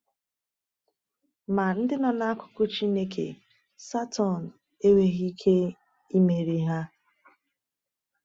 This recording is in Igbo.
Ma ndị nọ n’akụkụ Chineke, Satọn enweghị ike imeri ha.